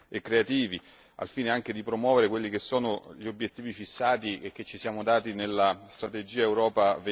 e creativi al fine anche di promuovere quelli che sono gli obiettivi fissati e che ci siamo dati nella strategia Europa